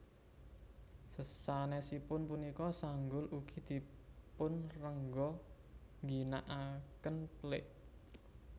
Sasanesipun punika sanggul ugi dipunrengga ngginakaken pelik